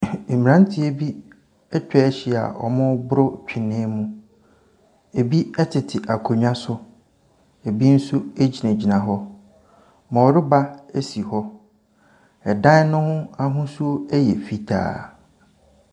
Mmaranteɛ bi atwahyia a wɔreboro ntwene mu. Ebi ɛtete akonnwa so. Ebi nso egyinagyina hɔ. Bɔreba esi hɔ. Ɛdan no ho ahosuo ɛyɛ fitaa.